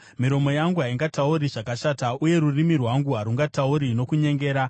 miromo yangu haingatauri zvakashata, uye rurimi rwangu harungatauri nokunyengera.